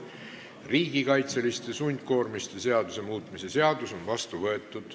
Riigikaitseliste sundkoormiste seaduse muutmise seadus on vastu võetud.